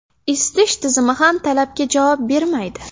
Isitish tizimi ham talabga javob bermaydi.